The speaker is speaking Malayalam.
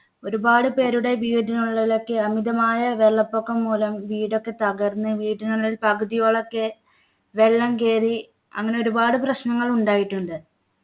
ഒരുപാട് പേരുടെ വീടിനുള്ളിലൊക്കെ അമിതമായ വെള്ളപ്പൊക്കം മൂലം വീടൊക്കെ തകർന്നു വീട്ടിനുള്ളിൽ പകുതിയോളം ഒക്കെ വെള്ളം കയറി അങ്ങനെ ഒരുപാട് പ്രശ്നങ്ങൾ ഉണ്ടായിട്ടുണ്ട്